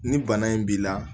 Ni bana in b'i la